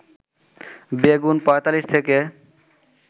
বেগুন ৪৫ থেকে